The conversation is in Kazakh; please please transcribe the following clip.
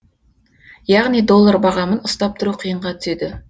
яғни доллар бағамын ұстап тұру қиынға түседі